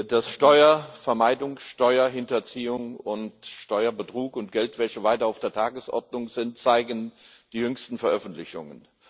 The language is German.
Dass Steuervermeidung, Steuerhinterziehung, Steuerbetrug und Geldwäsche weiter auf der Tagesordnung sind, zeigen die jüngsten Veröffentlichungen.